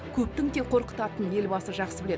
көптің тек қорқытатынын елбасы жақсы біледі